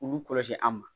U b'u kɔlɔsi an ma